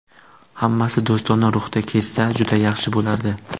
Hammasi do‘stona ruhda kechsa, juda yaxshi bo‘lardi.